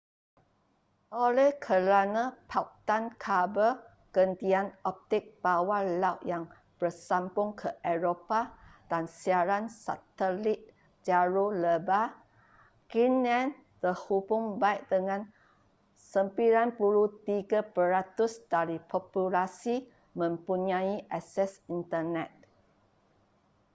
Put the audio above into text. oleh kerana pautan kabel gentian optik bawah laut yang bersambung ke eropah dan siaran satelit jalur lebar greenland terhubung baik dengan 93% dari populasi mempunyai akses internet